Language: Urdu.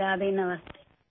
رادھے، نمستے!